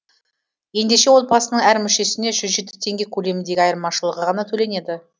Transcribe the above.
ендеше отбасының әр мүшесіне жүз жеті теңге көлеміндегі айырмашылығы ғана төленеді